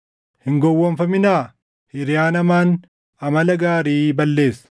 Hin gowwoomfaminaa: “Hiriyaan hamaan amala gaarii balleessa.”